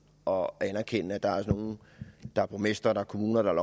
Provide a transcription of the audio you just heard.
og anerkende at der er nogle der er borgmestre der er kommuner der er